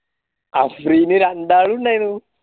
Afreen രണ്ടാലുണ്ടായിനു